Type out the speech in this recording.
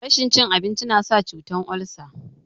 Rashin cin abinci nasa cutan olsa